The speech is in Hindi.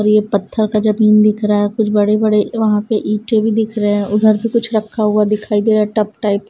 ये पत्थर का जमीन दिख रहा है कुछ बड़े बड़े वहाँ पे ईटे भी दिख रहे हैं उधर भी कुछ रखा हुआ दिखाई दे रहा है टब टाइप --